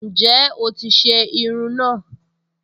Ǹjẹ́ o ti se irun náà